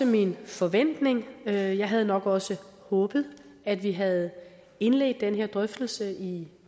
min forventning og jeg havde nok også håbet at vi havde indledt den her drøftelse i